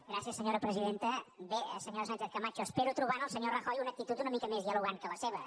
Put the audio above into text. bé senyora sánchez camacho espero trobar en el senyor rajoy una actitud una mica més dialogant que la seva